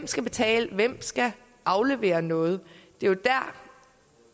skal betale og hvem skal aflevere noget